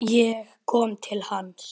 Ég kom til hans.